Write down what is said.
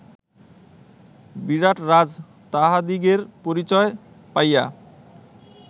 বিরাটরাজ তাঁহাদিগের পরিচয় পাইয়া